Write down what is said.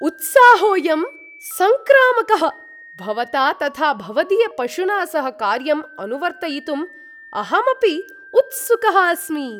उत्साहोऽयं सङ्क्रामकः! भवता तथा भवदीयपशुना सह कार्यम् अनुवर्तयितुं अहमपि उत्सुकः अस्मि।